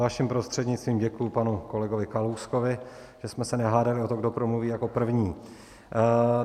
Vaším prostřednictvím děkuji panu kolegovi Kalouskovi, že jsme se nehádali o to, kdo promluví jako první.